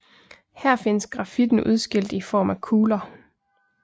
Her findes grafitten udskilt i form af kugler